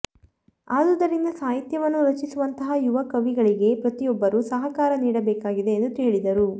ಆದುದರಿಂದ ಸಾಹಿತ್ಯವನ್ನು ರಚಿಸುವಂತಹ ಯುವ ಕವಿಗಳಿಗೆ ಪ್ರತಿಯೊಬ್ಬರೂ ಸಹಕಾರ ನೀಡಬೇಕಾಗಿದೆ ಎಂದು ಹೇಳಿದರು